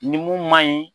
Ni mun man ɲi